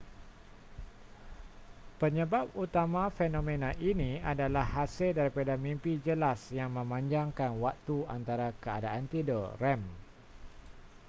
penyebab utama fenomena ini adalah hasil daripada mimpi jelas yang memanjangkan waktu antara keadaan tidur rem